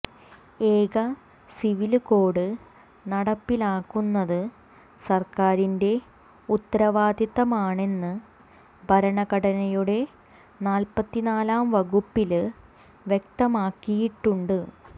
ഏക civil code നടപ്പിലാക്കുന്നത് സര്ക്കാരിന്റെ ഉത്തരവാദിത്തമാണെന്ന് ഭരണഘടനയുടെ നാല്പത്തിനാലാം വകുപ്പില് വ്യക്തമാക്കിയിട്ടുണ്ട്